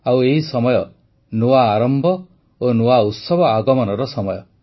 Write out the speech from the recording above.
ଆଉ ଏହି ସମୟ ନୂଆ ଆରମ୍ଭ ଓ ନୂଆ ଉତ୍ସବ ଆଗମନର ସମୟ